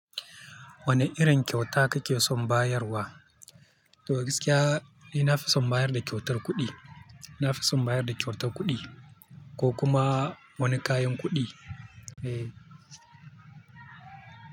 Wane irin kyauta kake son bayarwa? To gaskiya, ni nafi son bayar da kyautar kuɗi. Ina fi son bayar da kyautar kuɗi ko kuma wani kayan kuɗi. Eh.